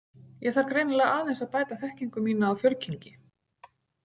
Ég þarf greinilega aðeins að bæta þekkingu mína á fjölkynngi